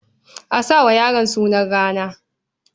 A sa wa yaron sunan rana.